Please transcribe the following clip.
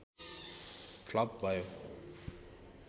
flop भयो